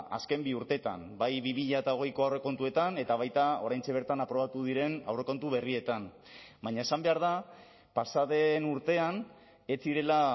azken bi urteetan bai bi mila hogeiko aurrekontuetan eta baita oraintxe bertan aprobatu diren aurrekontu berrietan baina esan behar da pasa den urtean ez zirela